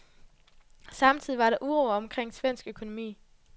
Samtidig var der uro omkring svensk økonomi.